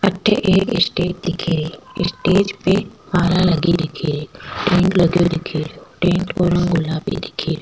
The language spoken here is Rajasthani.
अठ एक स्टेज दिख रो स्टेज में माला लगी दिख री टेंट लगो दिख रो टेंट को रंग गुलाबी दिख रो।